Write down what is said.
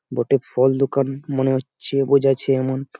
বটে ফল দোকান মনে হচ্ছে বোঝাছে এমন।